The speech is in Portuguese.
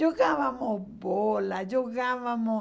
Jogávamos bola, jogávamos...